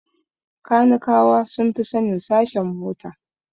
Kanikawa sun fi sanin sashen mota